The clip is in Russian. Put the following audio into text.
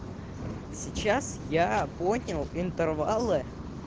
сейчас я понял интервалы